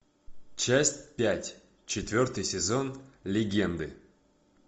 часть пять четвертый сезон легенды